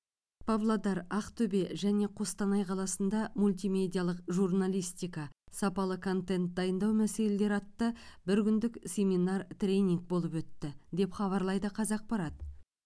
павлодар ақтөбе және қостанай қаласында мультимедиалық журналистика сапалы контент дайындау мәселелері атты бір күндік семинар тренинг болып өтті деп хабарлайды қазақпарат